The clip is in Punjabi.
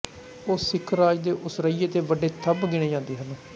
ਉਹ ਸਿੱਖ ਰਾਜ ਦੇ ਉਸਰੱਈਏ ਤੇ ਵੱਡੇ ਥੰਮ੍ਹ ਗਿਣੇ ਜਾਂਦੇ ਹਨ